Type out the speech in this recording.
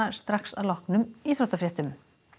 strax að loknum íþróttafréttum